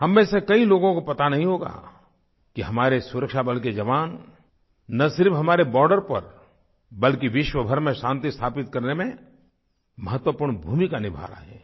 हम में से कई लोगों को पता नहीं होगा कि हमारे सुरक्षाबल के जवान न सिर्फ़ हमारे बॉर्डर पर बल्कि विश्वभर में शांति स्थापित करने में महत्वपूर्ण भूमिका निभा रहे हैं